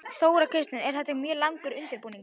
Þóra Kristín: En þetta er mjög langur undirbúningur?